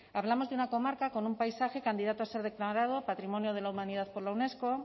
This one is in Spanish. hablamos de una comarca con un paisaje candidato a ser declarado patrimonio de la humanidad por la unesco